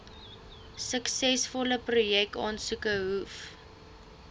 suksesvolle projekaansoeke hoef